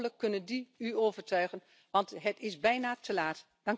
Hopelijk kunnen die u overtuigen, want het is bijna te laat.